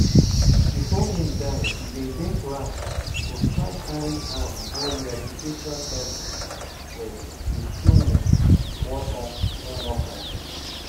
bifor im die we bin get plan to try carry am go rehabilitation centre for kisumu one more time